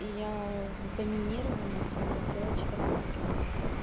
и я в доминировании смогла сделать четырнадцать килов